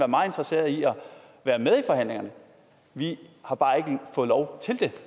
meget interesserede i at være med i forhandlingerne vi har bare ikke fået lov til det